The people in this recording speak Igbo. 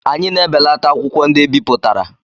Anyị na-ebelata akwụkwọ ndị e bipụtara.